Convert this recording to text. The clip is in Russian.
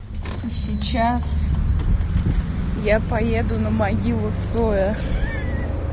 сейчас я поеду на могилу цоя